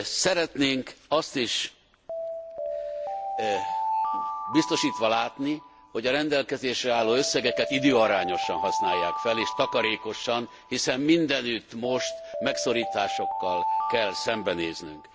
Szeretnénk azt is biztosítva látni, hogy a rendelkezésre álló összegeket időarányosan használják fel, és takarékosan, hiszen mindenütt most megszorításokkal kell szembenéznünk.